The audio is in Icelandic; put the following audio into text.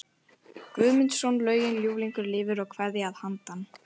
Guðmundsson lögin Ljúflingur lifir og Kveðja að handan